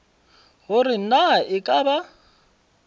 gore na e ka ba